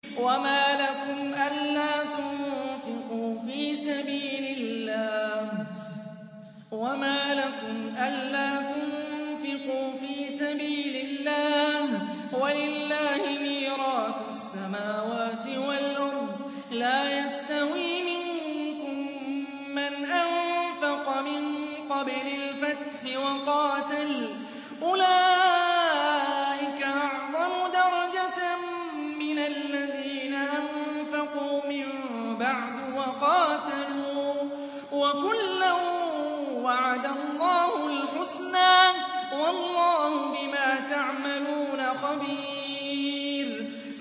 وَمَا لَكُمْ أَلَّا تُنفِقُوا فِي سَبِيلِ اللَّهِ وَلِلَّهِ مِيرَاثُ السَّمَاوَاتِ وَالْأَرْضِ ۚ لَا يَسْتَوِي مِنكُم مَّنْ أَنفَقَ مِن قَبْلِ الْفَتْحِ وَقَاتَلَ ۚ أُولَٰئِكَ أَعْظَمُ دَرَجَةً مِّنَ الَّذِينَ أَنفَقُوا مِن بَعْدُ وَقَاتَلُوا ۚ وَكُلًّا وَعَدَ اللَّهُ الْحُسْنَىٰ ۚ وَاللَّهُ بِمَا تَعْمَلُونَ خَبِيرٌ